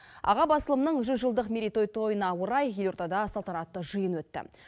аға басылымның жүз жылдық тойына орай елордада салтанатты жиын өтті